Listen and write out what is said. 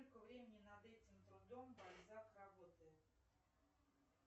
сколько времени над этим трудом бальзак работает